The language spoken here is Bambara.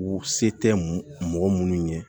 U se tɛ mɔgɔ minnu ye